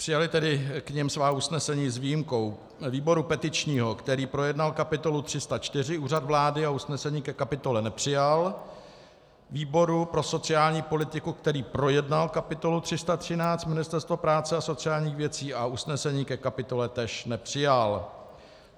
Přijaly tedy k nim svá usnesení, s výjimkou výboru petičního, který projednal kapitolu 304 Úřad vlády a usnesení ke kapitole nepřijal, výboru pro sociální politiku, který projednal kapitolu 313 Ministerstvo práce a sociálních věcí a usnesení ke kapitole též nepřijal.